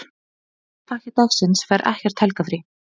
Slúðurpakki dagsins fær ekkert helgarfrí.